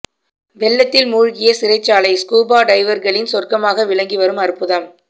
வெள்ளத்தில் மூழ்கிய சிறைச்சாலை ஸ்கூபா டைவர்களின் சொர்க்கமாக விளங்கி வரும் அற்புதம்